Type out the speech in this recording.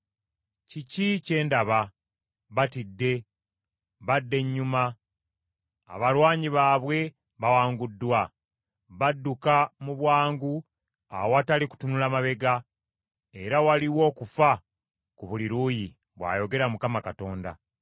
Kiki kye ndaba? Batidde, badda ennyuma, abalwanyi baabwe bawanguddwa. Badduka mu bwangu awatali kutunula mabega, era waliwo okufa ku buli luuyi,” bw’ayogera Mukama Katonda.